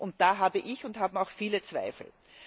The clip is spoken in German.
Und da habe ich und haben auch viele andere Zweifel.